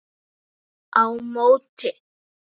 á móti.